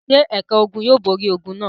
Ṣé ẹ̀ka ogun yóò borí ogun náà?